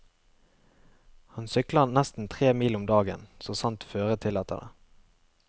Han sykler nesten tre mil om dagen så sant føret tillater det.